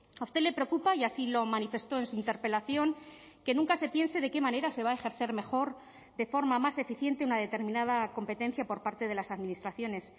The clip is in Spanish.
a usted le preocupa y así lo manifestó en su interpelación que nunca se piense de qué manera se va a ejercer mejor de forma más eficiente una determinada competencia por parte de las administraciones